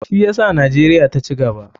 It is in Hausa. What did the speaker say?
Shi yasa nijeria ta cigaba.